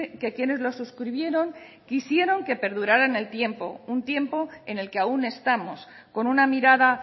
que quienes lo suscribieron quisieron que perdurará en el tiempo un tiempo en el que aún estamos con una mirada